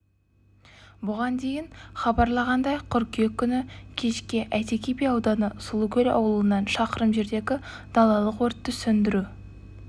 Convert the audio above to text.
бұған дейін хабарланғандай қыркүйек күні кешке әйтеке би ауданы сұлукөл ауылынан шақырым жердегі далалық өртті сөндіру